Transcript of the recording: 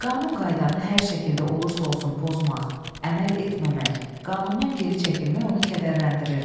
Qanun-qaydanı hər şəkildə olursa olsun pozmaq, əməl etməmək, qanundan geri çəkilmək onu kədərləndirirdi.